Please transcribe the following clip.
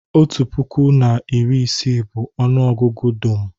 otu puku na iri isii bụ ọnụ ọgụgụ dum